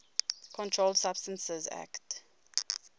controlled substances acte